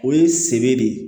O ye sebe de ye